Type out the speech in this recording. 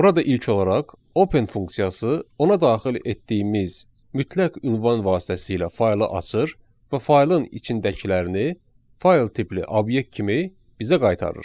Burada ilk olaraq open funksiyası ona daxil etdiyimiz mütləq ünvan vasitəsilə faylı açır və faylın içindəkilərini fayl tipli obyekt kimi bizə qaytarır.